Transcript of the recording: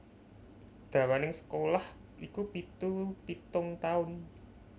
Dawaning sekolah iku pitu pitung taun